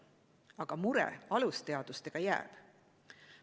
Aga mure alusteadustega jääb.